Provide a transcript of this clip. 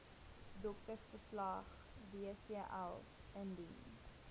doktersverslag wcl indien